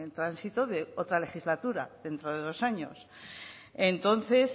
tránsito de otra legislatura dentro de dos años entonces